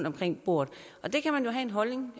omkring bordet det kan man jo have en holdning